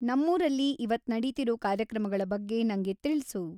ನಮ್ಮೂರಲ್ಲಿ ಇವತ್‌ ನಡೀತಿರೋ ಕಾರ್ಯಕ್ರಮಗಳ ಬಗ್ಗೆ ನಂಗೆ ತಿಳ್ಸು